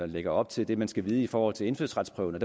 lægger op til det man skal vide i forhold til indfødsretsprøven